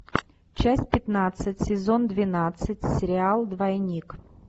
часть пятнадцать сезон двенадцать сериал двойник